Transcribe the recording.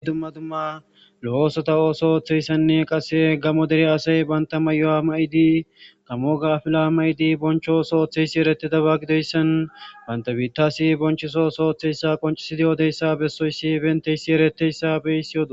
Hidumma dumma lo'oosota ooso ooththeyssanne qase gamo dere asay banta may'o'a ma'idi kamo ga afila ma'idi boncho ooso ooththeyssi eretidaba gidoyssan banta biittasi bonchosooso oththeyssa qoncisidi yoodeyssa bessoyssi ebenteyssi ereteyssa beyssi odo.